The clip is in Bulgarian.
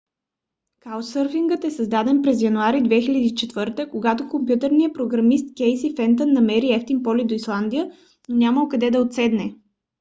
каучсърфингът е създаден през януари 2004 г. когато компютърният програмист кейси фентън намерил евтин полет до исландия но нямало къде да отседне